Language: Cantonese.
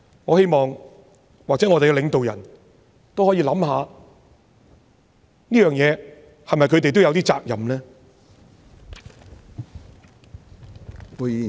我希望我們的領導人也可以想想，在這事情上，是否他們也有點責任呢？